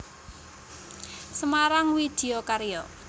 Semarang Widya Karya